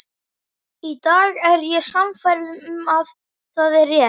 Í dag er ég sannfærð um að það er rétt.